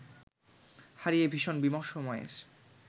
হারিয়ে ভীষণ বিমর্ষ ময়েস